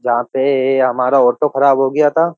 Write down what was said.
जहाँ पे हमारा ऑटो खराब हो गया था।